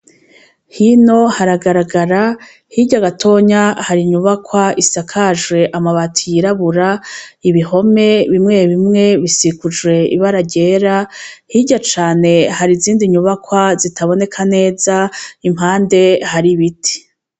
Hino haragaragara hirya gatonya hari inyubakwa isakaje amabati yirabura ibihome bimwe bimwe bisikujwe ibara ryera hirya cane hari izindi nyubakwa zitaboneka neza impande hari ibiti.